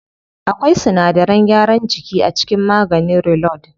Akwai sinadaran gyaran jiki a cikin maganin reload.